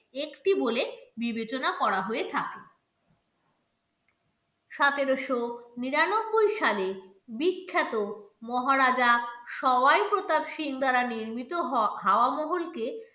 একটি বলে বিবেচনা করা হয়ে থাকে সতেরোশো নিরানব্বই সালে বিখ্যাত মহারাজা সৌয়াই প্রতাপ সিং দ্বারা নির্মিত হাওয়া মহলকে